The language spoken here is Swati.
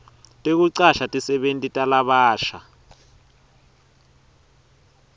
tekucasha tisebenti talabasha